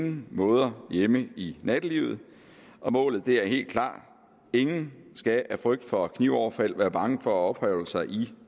ingen måde hjemme i nattelivet og målet er helt klart ingen skal af frygt for knivoverfald være bange for at opholde sig i